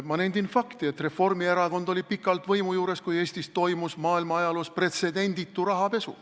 Ma nendin fakti, et Reformierakond oli pikalt võimu juures, kui Eestis toimus maailma ajaloos pretsedenditu rahapesu.